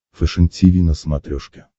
фэшен тиви на смотрешке